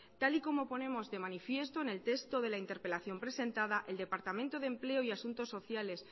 tal y como ponemos de manifiesto en el texto de la interpelación presentada el departamento de empleo y asuntos sociales